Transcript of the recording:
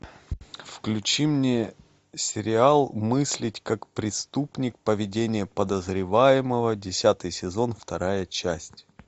включи мне сериал мыслить как преступник поведение подозреваемого десятый сезон вторая часть